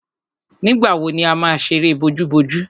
Nígbà wo ni a má ṣeré bojúbojú?